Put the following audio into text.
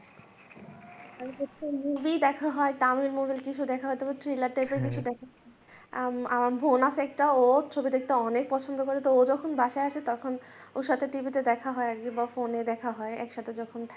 movie দেখা হয় Tamil movie কিছু দেখা হয় তারপর thriller type এর কিছু bonus একটা ও ছবি দেখতে অনেক পছন্দ করে তো ও যখন বাসায় আসে তখন ওর সাথে TV তো দেখা হয় বা phone দেখা হয় একসাথে যেখান থাকি।